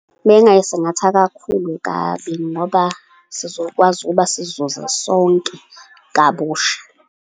Mengingay'singatha kakhulu kabi, ngoba sizokwazi ukuba sizuze sonke kabusha.